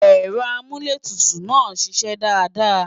Ẹ̀rọ amúlétutù náà ń ṣiṣẹ́ dáadáa